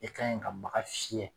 E kan ɲi ka baga fiyɛ.